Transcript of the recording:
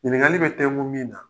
Ɲininkali bɛ tɛngu min na